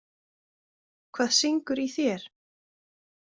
Hvað syngur í þér?